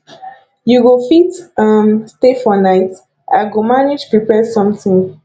you go fit um stay for night i go manage prepare something